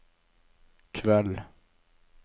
kveld